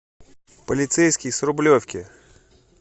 полицейский с рублевки